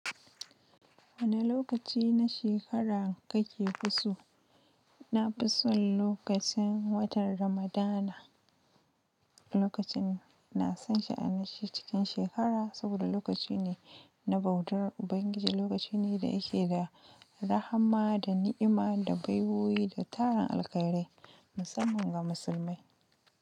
Wani lokaci na shekara kake fi so? Na fi son lokacin watan Ramadana. Lokacin na san sha'anin shi cikin shekara saboda lokaci ne na bautar Ubangiji. Lokaci ne da yake da rahama da ni'ima da baiwowi da taron alkhairai musamman ga musulmai.